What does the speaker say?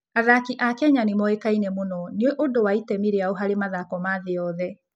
Athaki a Kenya nĩ moĩkaine mũno nĩ ũndũ wa itemi rĩao harĩ mathako ma thĩ yothe.